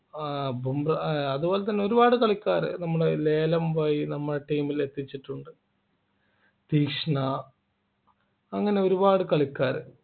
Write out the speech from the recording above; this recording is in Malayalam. ആഹ് ഏർ അതുപോലെതന്നെ ഒരുപാട് കളിക്കാരൻ നമ്മുടെ ലേലം വഴി നമ്മുടെ team ൽ എത്തിച്ചിട്ടുണ്ട് തീക്ഷ്ണ അങ്ങനെ ഒരുപാട് കളിക്കാര്